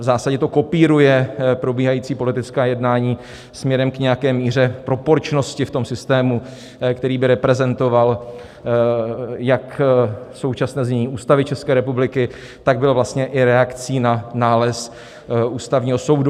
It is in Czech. V zásadě to kopíruje probíhající politická jednání směrem k nějaké míře proporčnosti v tom systému, který by reprezentoval jak současné znění Ústavy České republiky, tak byl vlastně i reakcí na nález Ústavního soudu.